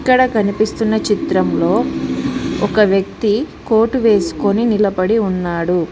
ఇక్కడ కనిపిస్తున్న చిత్రంలో ఒక వ్యక్తి కోటు వేసుకొని నిలపడి ఉన్నాడు.